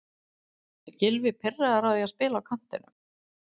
Er Gylfi pirraður á því að spila á kantinum?